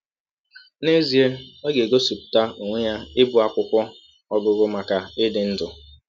N’ezie ọ ga - egosipụta ọnwe ya ịbụ akwụkwọ ọgụgụ maka ịdị ndụ!